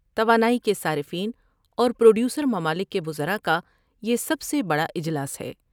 توانائی کے صارفین اور پروڈیوسر ممالک کے وزراء کا یہ سب سے بڑا اجلاس ہے ۔